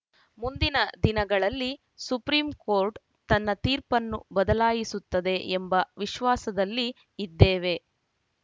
ಮುಂದಿನ ದಿನಗಳಲ್ಲಿ supreme court ತನ್ನ ತೀರ್ಪನ್ನು ಬದಲಾಯಿಸುತ್ತದೆ ಎಂಬ ವಿಶ್ವಾಸದಲ್ಲಿ ಇದ್ದೇವೆ